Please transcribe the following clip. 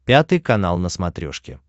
пятый канал на смотрешке